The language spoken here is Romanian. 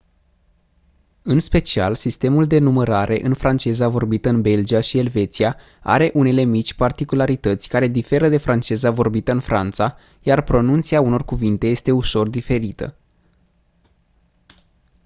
în special sistemul de numărare în franceza vorbită în belgia și elveția are unele mici particularități care diferă de franceza vorbită în franța iar pronunția unor cuvinte este ușor diferită